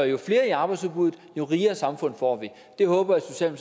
jo større arbejdsudbud jo rigere samfund får vi det håber